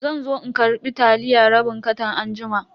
Zanzo in karbi taliya rabin katan anjima.